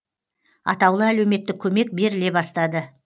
атаулы әлеуметтік көмек беріле бастады